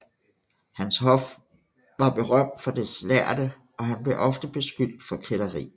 Hans hof var berømt for dets lærde og han blev ofte beskyldt for kætteri